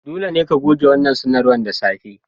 Dole ne ka goge wannan sanarwar da safe!